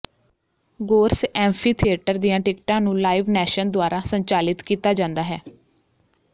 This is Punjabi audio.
ਗੋਰਸ ਐਂਫੀਥੀਏਟਰ ਦੀਆਂ ਟਿਕਟਾਂ ਨੂੰ ਲਾਈਵ ਨੈਸ਼ਨ ਦੁਆਰਾ ਸੰਚਾਲਿਤ ਕੀਤਾ ਜਾਂਦਾ ਹੈ